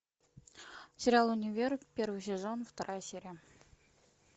сериал универ первый сезон вторая серия